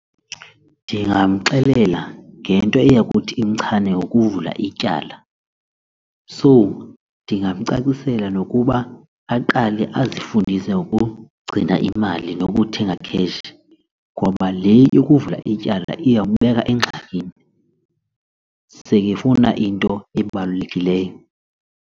Ndingamxelela ngento eyakuthi imchane ngokuvula ityala. So ndingamcacisela nokuba aqale azifundise ngokugcina imali nokuthenga cash ngoba le yokuvula ityala iyombeka engxakini sekefuna into ebalulekileyo.